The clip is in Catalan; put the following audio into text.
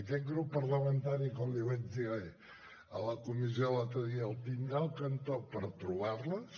aquest grup parlamentari com li vaig dir a la comissió l’altre dia el tindrà al cantó per trobar les